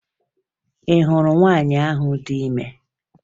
Ị hụrụ nwaanyị ahụ dị ime?